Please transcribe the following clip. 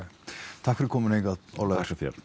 takk fyrir komuna hingað Ólafur